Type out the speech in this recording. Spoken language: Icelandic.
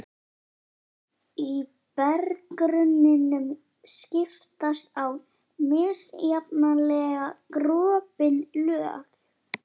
Í berggrunninum skiptast á misjafnlega gropin lög.